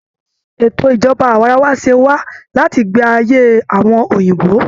Ètò ìjọba awaarawa ṣẹ wá láti ayé ìgbà àwọn òyìnbó